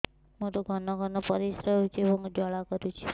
ମୋର ଘନ ଘନ ପରିଶ୍ରା ହେଉଛି ଏବଂ ଜ୍ୱାଳା କରୁଛି